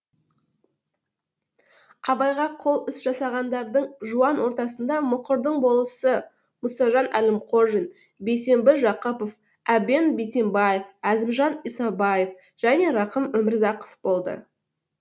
абайға қол іс жасағандардың жуан ортасында мұқырдың болысы мұсажан әлімқожин бейсембі жақыпов әбен битембаев әзімжан исабаев және рақым өмірзақов болды